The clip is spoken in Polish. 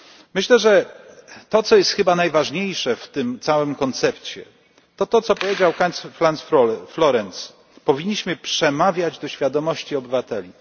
Myślę, że to, co jest chyba najważniejsze w tym całym koncepcie, to to, co powiedział pan Karl Heinz Florenz powinniśmy przemawiać do świadomości obywateli.